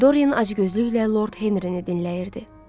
Doryen acgözlüklə Lord Henrini dinləyirdi.